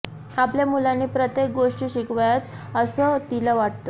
आपल्या मुलांनी प्रत्येक गोष्टी शिकाव्यात असं तिला वाटतं